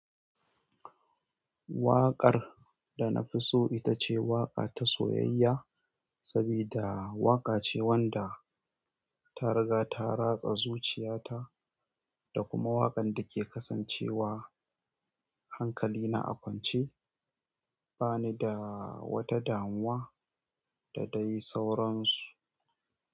Waƙar da na fi so ita ce waƙa ta soyayya sabida waƙace wanda tariga ta ratsa zuciya ta da kuma waƙan da ke kasancewa hankali na a kwance bani da wata damuwa da dai sauransu.